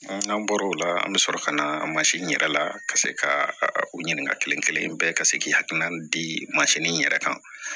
N'an bɔra o la an bɛ sɔrɔ ka na in yɛrɛ la ka se ka o ɲininkali kelen kelen bɛɛ ka se k'i hakilina di mansin in yɛrɛ kan